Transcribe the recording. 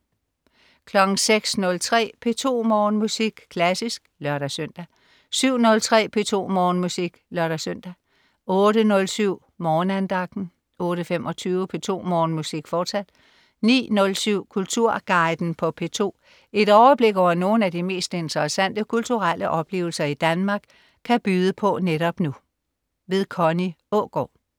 06.03 P2 Morgenmusik. Klassisk (lør-søn) 07.03 P2 Morgenmusik (lør-søn) 08.07 Morgenandagten 08.25 P2 Morgenmusik, fortsat 09.07 Kulturguiden på P2. Et overblik over nogle af de mest interessante kulturelle oplevelser Danmark kan byde på netop nu. Connie Aagaard